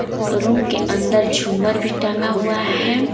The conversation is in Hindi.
रूम के अंदर झूमर भी टंगा हुआ है।